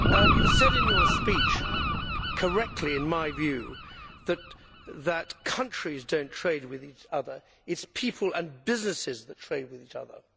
You said in your speech correctly, in my view that countries do not trade with each other it is people and businesses that trade with each other.